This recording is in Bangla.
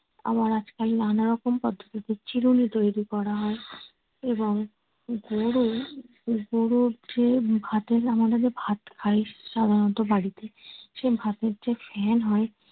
আবার আজকাল নানা রকম পদ্ধতিতে চিরুণি তৈরি করা হয়। এবং গরুর যে ভাতের আমাদের যে ভাত খাই সাধারণত বাড়িতে সেই ভাতের যে ফেন হয়